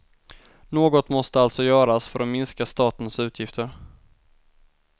Något måste alltså göras för att minska statens utgifter.